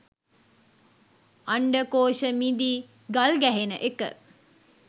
අණ්ඩකෝෂ මිදී ගල්ගැහෙන එක.